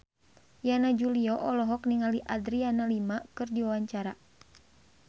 Yana Julio olohok ningali Adriana Lima keur diwawancara